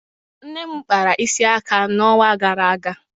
Nne m kpara isi aka n'ọnwa gara aga